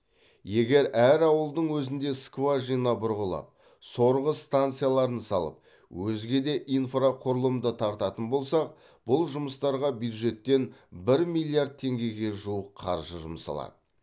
егер әр ауылдың өзінде скважина бұрғылап сорғы станцияларын салып өзге де инфрақұрылымды тартатын болсақ бұл жұмыстарға бюджеттен бір миллиард теңгеге жуық қаржы жұмсалады